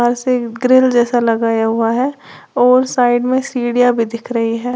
Grill जैसा लगाया हुआ है और साइड में सीढ़ियां भी दिख रही है।